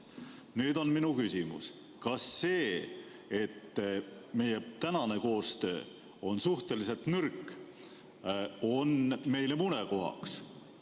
Nüüd on minu küsimus: kas see, et meie praegune koostöö on suhteliselt nõrk, on meile murekohaks?